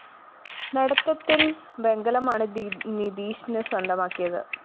നടത്തത്തില്‍ വെങ്കലമാണ് നിധീഷ് സ്വന്തമാക്കിയത്